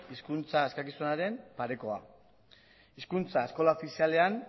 hizkuntza eskakizunaren parekoa hizkuntza eskola ofizialean